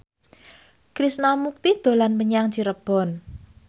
Krishna Mukti dolan menyang Cirebon